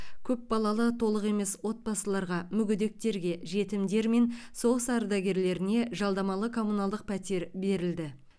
көпбалалы толық емес отбасыларға мүгедектерге жетімдер мен соғыс ардагерлеріне жалдамалы коммуналдық пәтер берілді